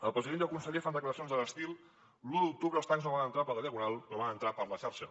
el president i el conseller fan declaracions a l’estil l’u d’octubre els tancs no van entrar per la diagonal però van entrar per la xarxa